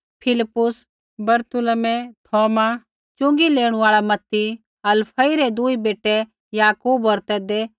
फिलिप्पुस बरतुलमै थौमा च़ुँगी लेणू आल़ा मत्ती हलफई रै दूई बेटै याकूब होर तद्दै